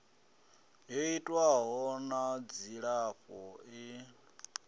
yo itwaho na dzilafho ḽi